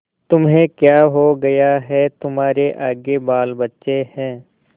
तुम्हें क्या हो गया है तुम्हारे आगे बालबच्चे हैं